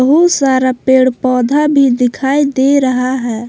बहुत सारा पेड़ पौधा भी दिखाई दे रहा है।